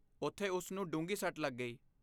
ਉਥੇ ਉਸ ਨੂੰ ਡੂੰਘੀ ਸੱਟ ਲੱਗ ਗਈ।